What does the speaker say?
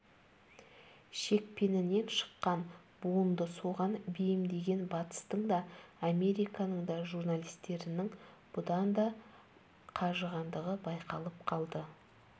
шекпенінен шыққан буынды соған бейімдеген батыстың да американың да журналистерінің бұдан да қажығандығы байқалып қалды